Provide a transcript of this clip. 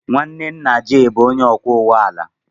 Nwanne nna Jay bụ onye ọkwọ ụgbọ ala.